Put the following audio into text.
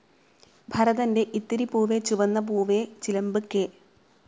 ഭരതന്റെ ഇത്തിരി പൂവേ ചുവന്ന പൂവേ, ചിലമ്പ്, കെ.